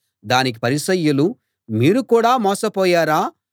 దానికి పరిసయ్యులు మీరు కూడా మోసపోయారా